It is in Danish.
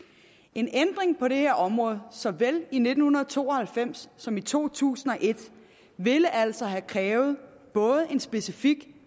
en ændring på det her område såvel i nitten to og halvfems som i to tusind og et ville altså have krævet både en specifik